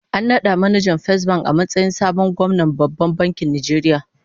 An nada manajan Fesbank a matsayin sabon gwamnan Babban Bankin Nigeria